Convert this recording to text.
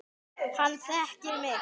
Hann þekkir mig.